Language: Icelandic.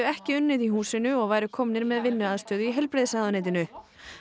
ekki unnið í húsinu og væru komnir með vinnuaðstöðu í heilbrigðisráðuneytinu